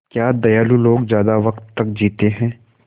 क्या दयालु लोग ज़्यादा वक़्त तक जीते हैं